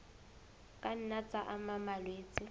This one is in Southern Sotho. ka nna tsa ama malwetse